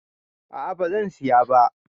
A'a bazan siya ba